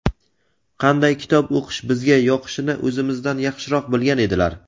qanday kitob o‘qish bizga yoqishini o‘zimizdan yaxshiroq bilgan edilar.